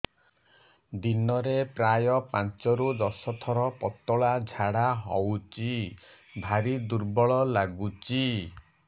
ଦିନରେ ପ୍ରାୟ ପାଞ୍ଚରୁ ଦଶ ଥର ପତଳା ଝାଡା ହଉଚି ଭାରି ଦୁର୍ବଳ ଲାଗୁଚି